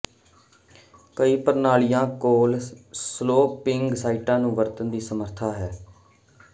ਕਈ ਪ੍ਰਣਾਲੀਆਂ ਕੋਲ ਸਲੋਪਿੰਗ ਸਾਈਟਾਂ ਨੂੰ ਵਰਤਣ ਦੀ ਸਮਰੱਥਾ ਹੈ